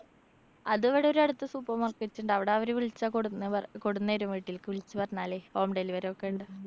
അതിവിടെ ഒരടുത്ത് super market ണ്ട്. അവടവര് വിളിച്ചാ കൊടുന്ന് കൊടന്നരും വീട്ടില്‍ക്ക്‌. വിളിച്ചു പറഞ്ഞാല് home delivery ഒക്കെയുണ്ട്.